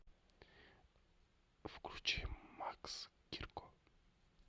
включи макс гирко